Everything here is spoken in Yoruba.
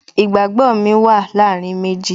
Ìgbàgbó mi wà láàárín méjì